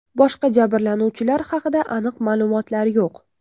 Boshqa jabrlanuvchilar haqida aniq ma’lumotlar yo‘q.